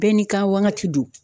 Bɛɛ n'i ka wagati don.